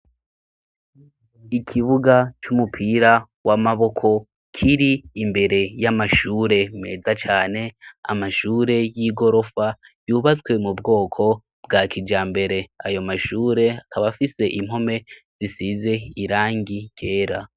Ikibuga c'umupira w'amaboko kiri imbere y'amashure meza cane amashure y'igorofa yubatswe mu bwoko bwa kija mbere ayo mashure akabafise impome zisize irangi ryera.